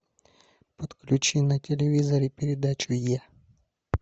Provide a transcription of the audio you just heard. подключи на телевизоре передачу е